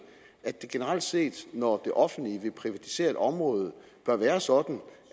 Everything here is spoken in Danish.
at det generelt set når det offentlige vil privatisere et område bør være sådan